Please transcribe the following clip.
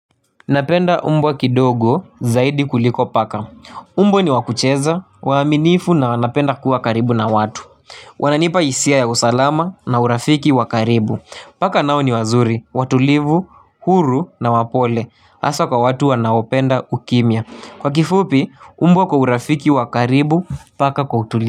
Napenda umbwa kidogo zaidi kuliko paka. Umbwa ni wakucheza, waaminifu na wanapenda kuwa karibu na watu. Wananipa isia ya usalama na urafiki wakaribu. Paka nao ni wazuri, watulivu, huru na wapole. Asa kwa watu wanaopenda ukimya. Kwa kifupi, umbwa kwa urafiki wakaribu paka kwa utuli.